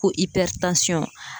Ko ipɛri tansɔn